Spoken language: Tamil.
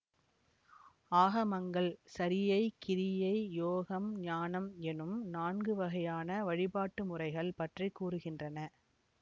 ஆகமங்கள் சரியை கிரியை யோகம் ஞானம் எனும் நான்குவகையான வழிபாட்டு முறைகள் பற்றி கூறுகின்றன